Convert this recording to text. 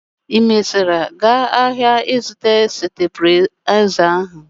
Ị mesiara gaa áhiá ịzụta stabịlaịza ahụ?